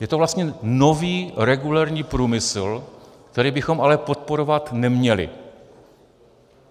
Je to vlastně nový regulérní průmysl, který bychom ale podporovat neměli.